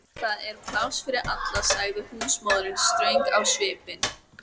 Það er pláss fyrir alla, sagði húsmóðirin ströng á svipinn.